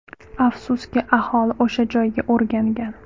Afsuski, aholi o‘sha joyga o‘rgangan.